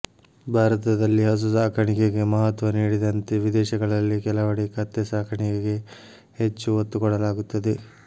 ಭಾರತದಲ್ಲಿ ಹಸು ಸಾಕಾಣಿಕೆಗೆ ಮಹತ್ವ ನೀಡಿದಂತೆ ವಿದೇಶಗಳಲ್ಲಿ ಕೆಲವೆಡೆ ಕತ್ತೆ ಸಾಕಾಣಿಕೆಗೆ ಹೆಚ್ಚು ಒತ್ತು ಕೊಡಲಾಗುತ್ತದೆ